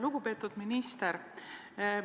Lugupeetud minister!